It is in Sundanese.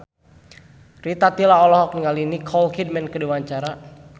Rita Tila olohok ningali Nicole Kidman keur diwawancara